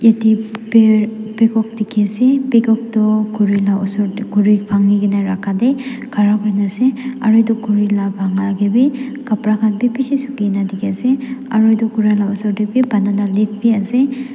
yatae paer peacock dikhiase peacock tohkhuri la osor khuri bhanki kae na rakha tae khara kurina ase aro edu khuri la bankatae bi kapra khan bi bishi Suki na dikhiase aro edu khuri la osor tae bi banana leaves biase--